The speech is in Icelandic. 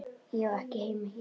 Ég á ekki heima hér.